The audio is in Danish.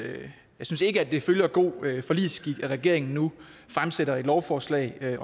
at det følger god forligsskik at regeringen nu fremsætter et lovforslag